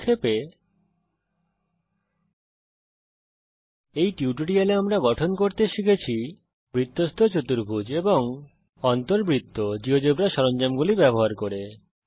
সংক্ষেপে এই টিউটোরিয়াল এ আমরা গঠন করতে শিখেছি বৃত্তস্থ চতুর্ভুজ এবং অন্তবৃত্ত জীয়োজেব্রা সরঞ্জামগুলি ব্যবহার করে